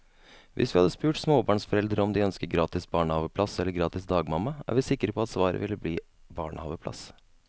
Hvis vi hadde spurt småbarnsforeldre om de ønsker gratis barnehaveplass eller gratis dagmamma, er vi sikre på at svaret ville bli barnehaveplass.